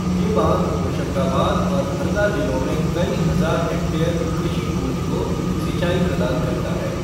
ये बाँध होशंगाबाद और हरदा जिलों में कई हजार हेक्टेयर कृषि भूमि को सिंचाई प्रदान करता है।